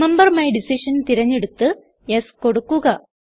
remember my decision തിരഞ്ഞെടുത്ത് yes കൊടുക്കുക